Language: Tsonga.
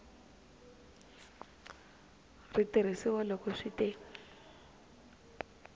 ri tirhisiwa loko swi te